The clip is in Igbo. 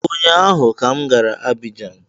Ụnyaahụ m gara Abijan